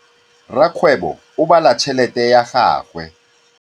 Rakgwêbô o bala tšheletê ya gagwe.